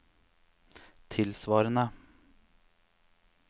tilsvarende